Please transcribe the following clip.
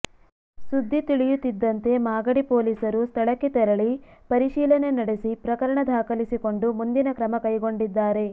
ಸುದ್ದಿ ತಿಳಿಯುತ್ತಿದ್ದಂತೆ ಮಾಗಡಿ ಪೊಲೀಸರು ಸ್ಥಳಕ್ಕೆ ತೆರಳಿ ಪರಿಶೀಲನೆ ನಡೆಸಿ ಪ್ರಕರಣ ದಾಖಲಿಸಿಕೊಂಡು ಮುಂದಿನ ಕ್ರಮ ಕೈಗೊಂಡಿದ್ದಾರೆ